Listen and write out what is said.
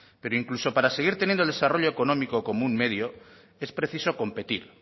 pero incluso para seguir teniendo el desarrollo económico como un medio es preciso competir